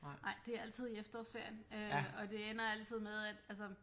Nej det er altid i efterårsferien øh og det ender altid med at altså